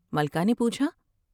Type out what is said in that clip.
ملکہ نے پوچھا ۔